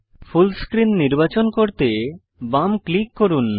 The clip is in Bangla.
ফুল স্ক্রিন নির্বাচন করতে বাম ক্লিক করুন